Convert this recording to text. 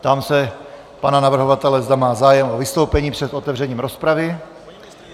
Ptám se pana navrhovatele, zda má zájem o vystoupení před otevřením rozpravy.